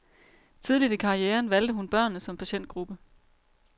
Tidligt i karrieren valgte hun børnene som patientgruppe.